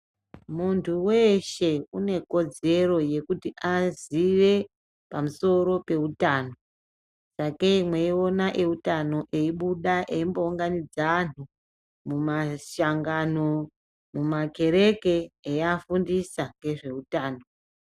Muntu weshe unekodzero yekuti azive pamusoro peutano. Sakei mweiona eutano eibuda eimbounganidza anhu mumashangano, mumakereke eifundisa zveutano.